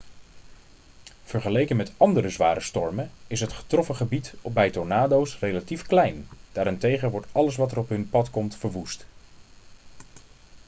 vergeleken met andere zware stormen is het getroffen gebied bij tornado's relatief klein daarentegen wordt alles wat er op hun pad komt verwoest